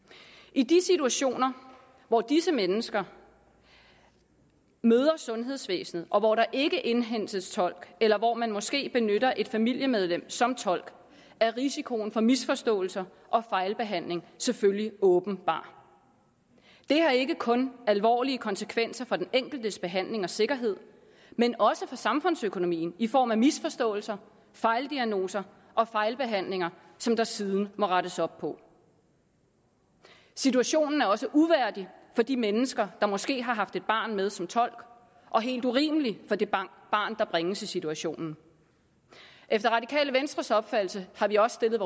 i de situationer hvor disse mennesker møder sundhedsvæsenet og hvor der ikke indhentes tolk eller hvor man måske benytter et familiemedlem som tolk er risikoen for misforståelser og fejlbehandling selvfølgelig åbenbar det har ikke kun alvorlige konsekvenser for den enkeltes behandling og sikkerhed men også for samfundsøkonomien i form af misforståelser fejldiagnoser og fejlbehandlinger som der siden må rettes op på situationen er også uværdig for de mennesker der måske har haft et barn med som tolk og helt urimelig for det barn der bringes i situationen efter radikale venstres opfattelse har vi også stillet